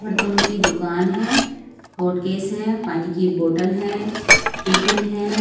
बर्तनों की दुकान है हॉट केस है पानी की बोटल है टिफिन है।